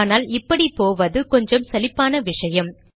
ஆனால் இப்படி போவது கொஞ்சம் சலிப்பான விஷயம்